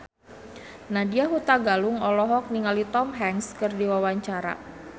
Nadya Hutagalung olohok ningali Tom Hanks keur diwawancara